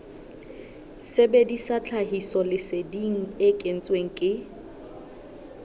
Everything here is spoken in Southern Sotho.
sebedisa tlhahisoleseding e kentsweng ke